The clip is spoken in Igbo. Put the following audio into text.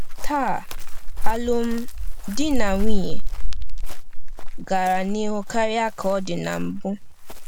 Taa, alụmdi na nwunye gara n’ihu karịa ka ọ dị na mbụ.